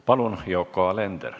Palun, Yoko Alender!